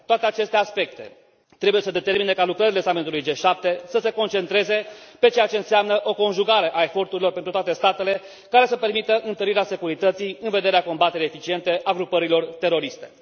Toate aceste aspecte trebuie să determine ca lucrările summitului G7 să se concentreze pe ceea ce înseamnă o conjugare a eforturilor pentru toate statele care să permită întărirea securității în vederea combaterii eficiente a grupărilor teroriste.